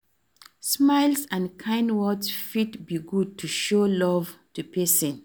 Smiles and kind words fit be good to show love to pesin.